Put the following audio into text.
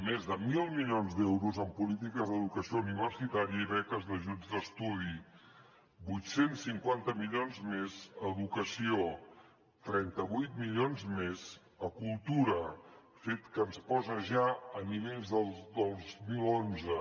més de mil milions d’euros en polítiques d’educació universitària i beques d’ajuts d’estudi vuit cents i cinquanta set milions més a educació trenta vuit milions més a cultura fet que ens posa ja a nivells del dos mil onze